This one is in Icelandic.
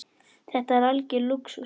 Þetta er algjör lúxus.